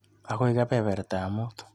Akoi kebebertap muut.